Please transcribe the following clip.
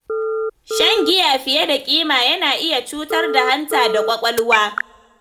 Shan giya fiye da kima yana iya cutar da hanta da ƙwaƙwalwa.